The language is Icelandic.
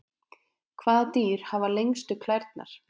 Hvaða dýr hafa lengstu klærnar?